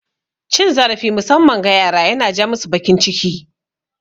Cin zarafi musamman ga yara yana ja masu bakin ciki